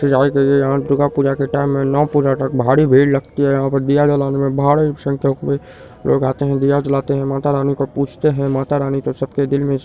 सजाई गई है। यहां दुर्गा पुजा के टाइम मे नौ पूजा तक भारी भीड़ लगती है। यहां पर दिया जलाने में भाड़ी संख्यक मे लोग आते है दिया जलाते है मातारानी को पूजते है मातारानी तो सबके दिल मे --